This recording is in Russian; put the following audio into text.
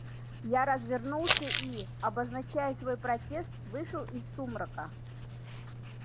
я развернулся и обозначая свой протест вышел из сумрака